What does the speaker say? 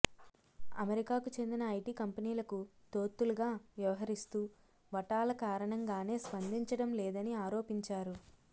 అమెరికాకు చెందిన ఐటి కంపెనీలకు తోత్తులుగా వ్యవహరిస్తూ వటాల కారణంగానే స్పందించడం లేదని ఆరోపించారు